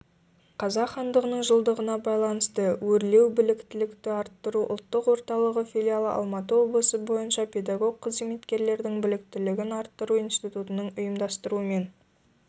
қазақ хандығының жылдығына байланысты өрлеубіліктілікті арттыру ұлттық орталығыфилиалы алматы облысы бойынша педагог қызметкерлердің біліктілігін арттыру институтыныңұйымдастыруымен